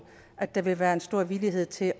at der vil være en stor villighed til